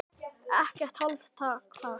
Ekkert hálfkák þar.